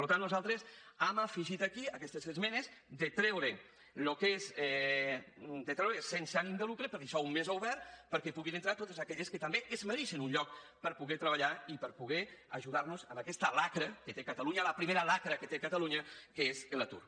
per tant nosaltres hem afegit aquí aquestes esmenes de treure sense ànim de lucre per deixar ho més obert perquè puguin entrar hi totes aquelles que també es mereixen un lloc per poder treballar i per poder ajudar nos en aquesta xacra que té catalunya la primera xacra que té catalunya que és l’atur